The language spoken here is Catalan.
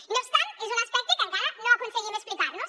i no obstant és un aspecte que encara no aconseguim explicar nos